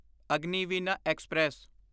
Agniveena express